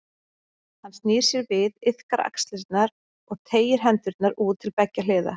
Hann snýr sér við, liðkar axlirnar og teygir hendurnar út til beggja hliða.